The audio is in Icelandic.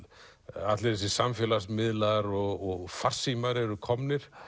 allir þessir samfélagsmiðlar og farsímar eru komnir